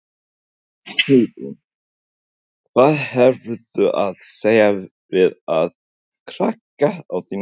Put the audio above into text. Hugrún: Hvað hefurðu að segja við aðra krakka á þínum aldri?